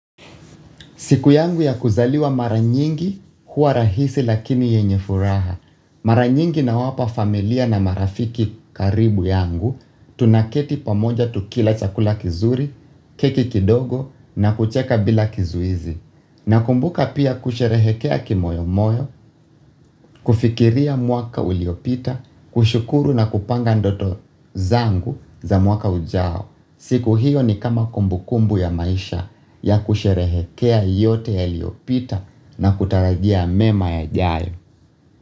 Siku yangu ya kuzaliwa mara nyingi huwa rahisi lakini yenye furaha. Maranyingi na wapa familia na marafiki karibu yangu Tunaketi pamoja tukila chakula kizuri, keki kidogo na kucheka bila kizuizi. Nakumbuka pia kusherehekea kimoyomoyo, kufikiria mwaka uliopita, kushukuru na kupanga ndoto zangu za mwaka ujao. Siku hiyo ni kama kumbukumbu ya maisha ya kusherehekea yote yaliyopita na kutarajia mema yajayo.